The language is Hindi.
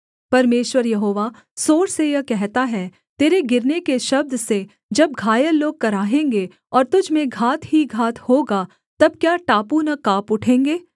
परमेश्वर यहोवा सोर से यह कहता है तेरे गिरने के शब्द से जब घायल लोग कराहेंगे और तुझ में घात ही घात होगा तब क्या टापू न काँप उठेंगे